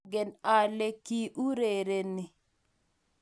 maangen ale ki urereni